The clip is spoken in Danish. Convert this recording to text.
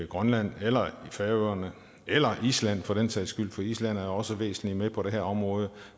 grønland eller i færøerne eller i island for den sags skyld for island er jo også væsentlig med på det her område